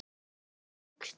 Það hefði flykkst til